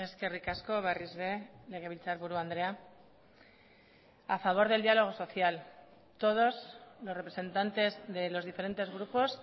eskerrik asko berriz ere legebiltzarburu andrea a favor del diálogo social todos los representantes de los diferentes grupos